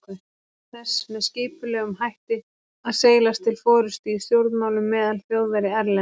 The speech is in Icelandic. freistað þess með skipulegum hætti að seilast til forystu í stjórnmálum meðal Þjóðverja erlendis.